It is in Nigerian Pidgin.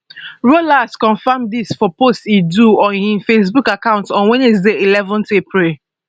rollas confam dis for post e do on im facebook account on wednesday eleven april